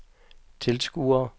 tilskuere